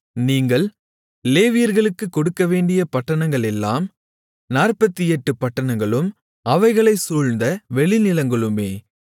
நீங்கள் லேவியர்களுக்கு கொடுக்கவேண்டிய பட்டணங்களெல்லாம் 48 பட்டணங்களும் அவைகளைச் சூழ்ந்த வெளிநிலங்களுமே